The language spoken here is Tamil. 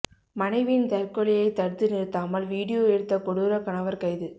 மனைவியின் தற்கொலையை தடுத்து நிறுத்தாமல் வீடியோ எடுத்த கொடூர கணவர் கைது